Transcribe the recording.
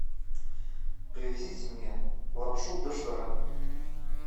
привезите мне лапшу доширак